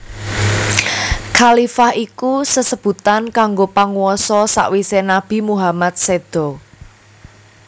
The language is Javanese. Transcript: Khalifah iku sesebutan kanggo panguwasa sawisé Nabi Muhammad séda